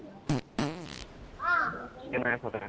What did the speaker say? কেনেকে ফাটে